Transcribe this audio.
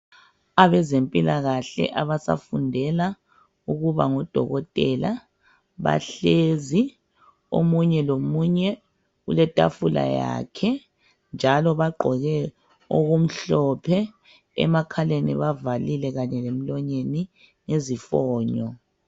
abezempilakahle abasafundela ukuba ngodokotela bahlezi omunye lomunye uletafula yakhe njalo bagqoke okumhlophe emakhaleni bavalile kanye lemlonyeni ngezifonyo